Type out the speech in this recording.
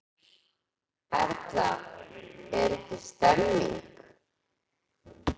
Erla, er ekki stemning?